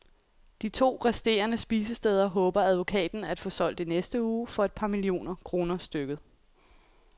De to resterende spisesteder håber advokaten af få solgt i næste uge for et par millioner kroner stykket.